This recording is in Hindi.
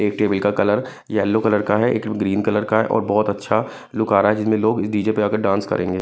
एक टेबल का कलर येलो कलर का है एक ग्रीन कलर का है और बहुत अच्छा लुक आ रहा है जिसमें लोग डी_ जे पे आकर डांस करेंगे।